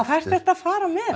fara með